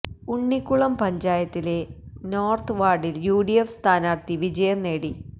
ഉണ്ണിക്കുളം പഞ്ചായത്തിലെ നെരോത്ത് വാര്ഡില് യുഡിഎഫ് സ്ഥാനാര്ത്ഥി വിജയം നേടി